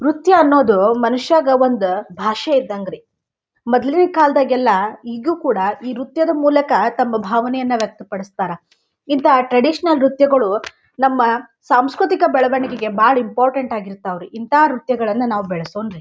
ನೃತ್ಯ ಅನ್ನೋದು ಮನುಷ್ಯಗ ಒಂದು ಭಾಷೆ ಇದ್ದಂಗ್ರಿ ಮೊದಲಿನ ಕಾಲ್ದಾಗೆಲ್ಲ ಈಗ್ಲೂ ಕೂಡ ಈ ನೃತ್ಯದ ಮೂಲಕ ತಮ್ಮ ಭಾವನೆಯನ್ನ ವ್ಯಕ್ತ ಪಡಿಸ್ತಾರಾ. ಇಂಥ ಟ್ರಡಿಷನಲ್ ನೃತ್ಯಗಳು ನಮ್ಮ ಸಾಂಸ್ಕೃತಿಕ ಬೆಳವಣಿಗೆಗಳಿಗೆ ಬಹಳ ಇಂಪೋರ್ಟೆನ್ಟ್ ಆಗಿರ್ತಾವ ರೀ ಇಂಥ ನೃತ್ಯವನ್ನ ನಾವು ಬೆಳೆಸೋನ್ರಿ.